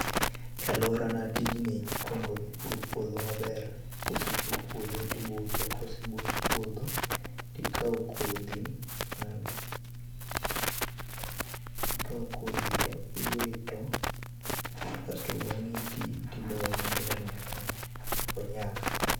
E aluorana tijni ikuongo ipuro puodho maber, kose pur puodho tibuso, kosebus puodho tikao kodhi mag, ikaw kodhi to tiwito asto bang'e itii tidoyo maber nyaka onyak